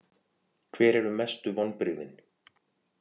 Hver eru mestu vonbrigðin?